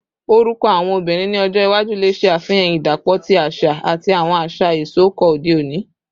Orukọ awọn obinrin ni ọjọ iwaju le ṣe afihan idapọ ti aṣa ati awọn aṣa isọkọ ode oni